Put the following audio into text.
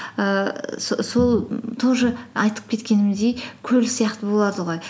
ііі сол тоже айтып кеткенімдей көл сияқты болады ғой